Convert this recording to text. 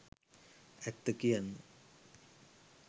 ඇත්ත කියන්න